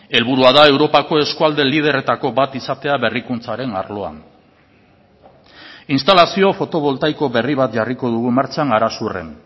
helburua da europako eskualde liderretako bat izatea berrikuntzaren arloan instalazio fotovoltaiko berri bat jarriko dugu martxan arasurren